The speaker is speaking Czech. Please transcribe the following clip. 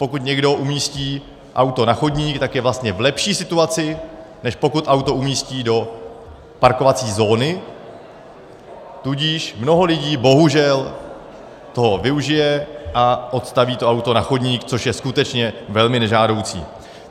Pokud někdo umístí auto na chodník, tak je vlastně v lepší situaci, než pokud auto umístí do parkovací zóny, tudíž mnoho lidí bohužel toho využije a odstaví to auto na chodník, což je skutečně velmi nežádoucí.